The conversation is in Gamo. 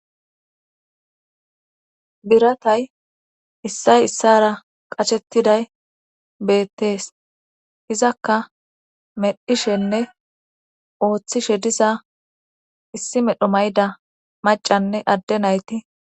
biratay issay issara qachettiday beettees izakka medhishenne ooththishe diza issi medhu mayda macanne adde nayti